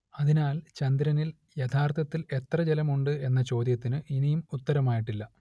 അതിനാൽ ചന്ദ്രനിൽ യഥാർത്ഥത്തിൽ എത്ര ജലം ഉണ്ട് എന്ന ചോദ്യത്തിന് ഇനിയും ഉത്തരമായിട്ടില്ല